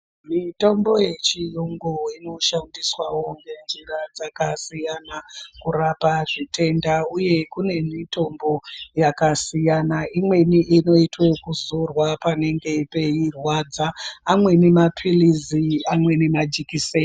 Mitombo yechirungu inoshandiswa nenzira dzakasiyana kurapa zvitenda uye kune mitombo yakasiyana imweni inoitwe kuzorwa panenge peirwadza, amweni mapiritsi, amweni majikiseni.